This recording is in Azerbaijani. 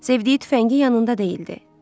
Sevdiyi tüfəngi yanında deyildi.